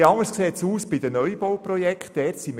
Etwas anders sieht es bei den Neubauprojekten aus.